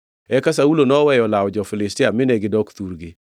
Eka Saulo noweyo lawo jo-Filistia mine gidok thurgi.